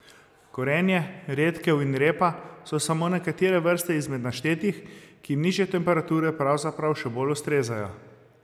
Korenje, redkev in repa so samo nekatere vrste izmed naštetih, ki jim nižje temperature pravzaprav še bolj ustrezajo.